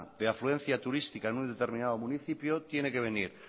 de afluencia turística en un determinado municipio tiene que venir